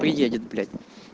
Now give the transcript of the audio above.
приедет блять